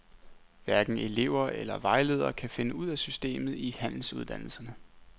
Hverken elever eller vejledere kan finde ud af systemet i handelsuddannelserne.